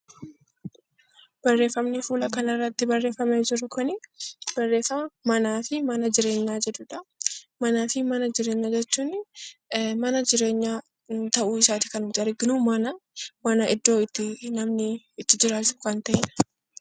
Manaa fi mana jireenyaa jechuun mana jireenyaa ta'uu isaati kan nuti arginu. Manni iddoo itti jiraatu kan ta'edha.